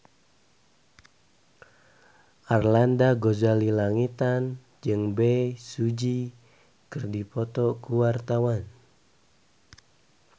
Arlanda Ghazali Langitan jeung Bae Su Ji keur dipoto ku wartawan